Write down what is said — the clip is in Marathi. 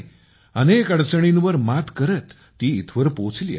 अनेक अडचणींवर मात करत ती इथवर पोहोचली आहे